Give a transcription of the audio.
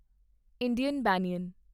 Indian ਬਨਿਆਨ